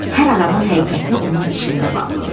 Hər adamın həqiqəti onun içində bağlıdır.